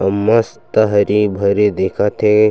अ मस्त हरी-भरी दिखत हे।